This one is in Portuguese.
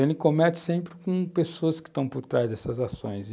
Ele comete sempre com pessoas que estão por trás dessas ações e,